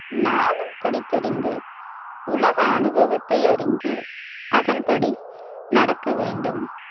நாளும் படித்தறிந்து உலக அனுபவத்தையறிந்து அதன்படி நடக்க வேண்டும்.